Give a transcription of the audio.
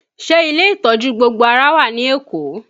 Ṣé ilé ìtọ́jú gbogbo ara wà ní Èkó?